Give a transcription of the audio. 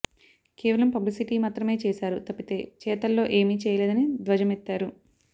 కేవలం పబ్లిసిటీ మాత్రమే చేశారు తప్పితే చేతల్లో ఏమి చేయలేదని ధ్వజమెత్తారు